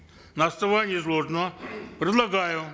на основании изложенного предлагаю